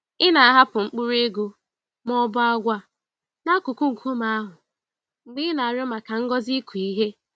Ị na-ahapụ mkpụrụ ego ma ọ bụ agwa n'akụkụ nkume ahụ mgbe ị na-arịọ maka ngọzi ịkụ ihe.